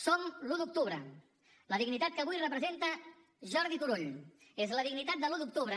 som l’un d’octubre la dignitat que avui representa jordi turull és la dignitat de l’un d’octubre